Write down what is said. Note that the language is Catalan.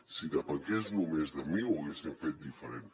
si depengués només de mi ho hauríem fet diferent